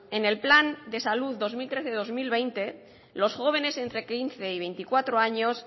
en el plan de salud dos mil trece dos mil veinte los jóvenes entre quince y veinticuatro años